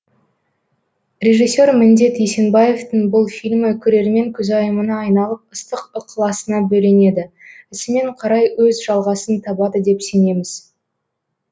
режиссер міндет есенбаевтың бұл фильмі көрермен көзайымына айналып ыстық ықыласына бөленеді ісімен қарай өз жалғасын табады деп сенеміз